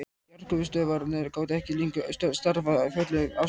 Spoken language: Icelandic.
Jarðgufustöðvarnar gátu ekki lengur starfað á fullum afköstum.